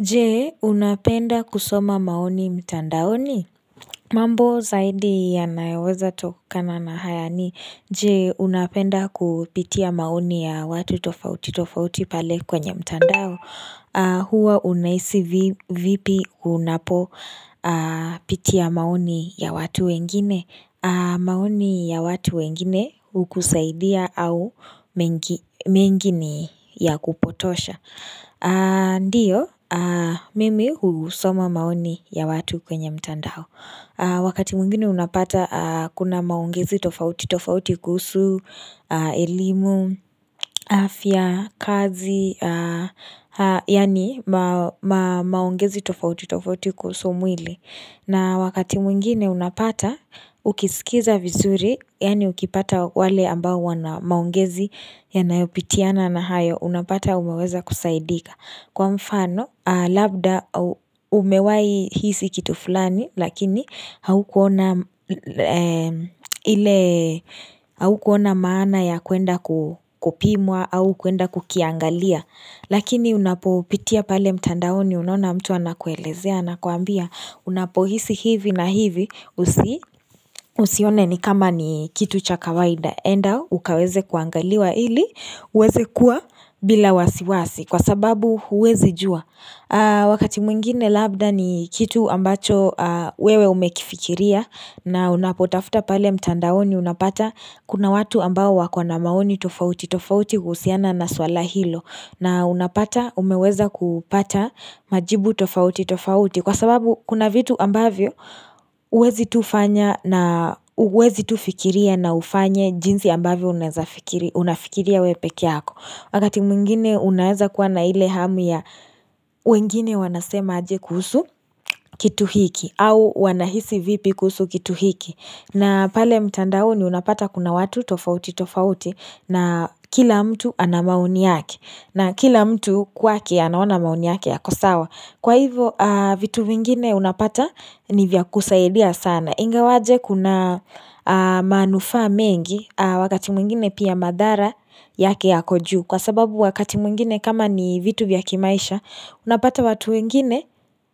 Je, unapenda kusoma maoni mtandaoni? Mambo zaidi yanaeweza tokana na haya ni. Je, unapenda kupitia maoni ya watu tofautitofauti pale kwenye mtandao. Huwa unahisi vipi unapo pitia maoni ya watu wengine. Maoni ya watu wengine hukusaidia au mengi ni ya kupotosha. Ndiyo, mimi husoma maoni ya watu kwenye mtandao Wakati mwingine unapata kuna maongezi tofautitofauti kuhusu, elimu, afya, kazi yaani maongezi tofautitofauti kuhusu mwili na wakati mwingine unapata ukisikiza vizuri Yaani ukipata wale ambao wana maongezi yanayopitiana na hayo Unapata umeweza kusaidika Kwa mfano labda umewahi hisi kitu fulani Lakini haukuona maana ya kuenda kupimwa au kuenda kukiangalia Lakini unapopitia pale mtandaoni unaona mtu anakuelezea Anakuambia unapohisi hivi na hivi Usione ni kama ni kitu cha kawaida enda ukaweze kuangaliwa ili uweze kuwa bila wasiwasi Kwa sababu huwezi jua Wakati mwingine labda ni kitu ambacho wewe umekifikiria na unapotafuta pale mtandaoni unapata Kuna watu ambao wako na maoni tofautitofauti kuhusiana na swala hilo na unapata umeweza kupata majibu tofauti tofauti Kwa sababu kuna vitu ambavyo huwezi tu fikiria na ufanye jinsi ambavyo unafikiria wewe pekee yako. Wakati mwingine unaeza kuwa na ile hamu ya wengine wanasema aje kuhusu kitu hiki. Au wanahisi vipi kuhusu kitu hiki. Na pale mtandaoni unapata kuna watu tofautitofauti na kila mtu ana maoni yake. Na kila mtu kwake anaona maoni yake yako sawa. Kwa hivo vitu vingine unapata ni vya kusaidia sana. Ingawaje kuna manufaa mengi. Wakati mwingine pia madhara yake yako juu kwa sababu wakati mwingine kama ni vitu vya kimaisha unapata watu wengine